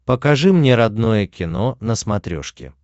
покажи мне родное кино на смотрешке